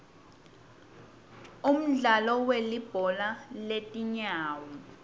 umdlalo welibhola letinyawo